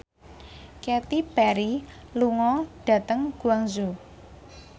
Katy Perry lunga dhateng Guangzhou